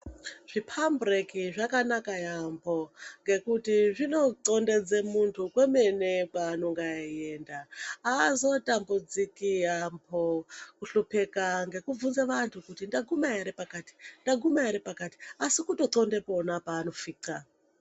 Zvimphambureki zvakanaka yaambho ngekuti zvinonxombedze munthu kwaanenge eienda, aazotambudziki yaambho kuhlupeka ngekubvunze vantu kuti ndaguma ere pakati, ndaguma ere pakati asi kutoxondepo pona paanofixa.